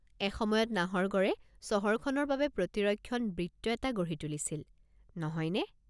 এসময়ত নাহৰগড়ে চহৰখনৰ বাবে প্ৰতিৰক্ষণ বৃত্ত এটা গঢ়ি তুলিছিল, নহয়নে?